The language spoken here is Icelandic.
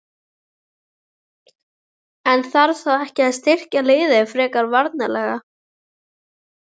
En þarf þá ekki að styrkja liðið frekar varnarlega?